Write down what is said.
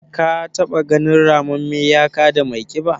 Ka taɓa ganin ramamme ya kada mai ƙiba?